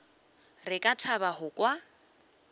re ka thaba go kwa